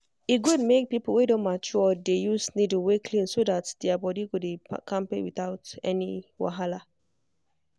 e good make people wey don mature dey use needle wey clean so that their body go dey kampe without any wahala.